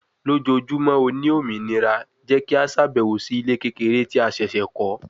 Lojoojumọ o ni ominira jẹ ki a ṣabẹwo si ile kekere ti a ṣẹṣẹ kọ